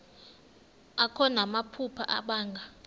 akho namaphupha abanga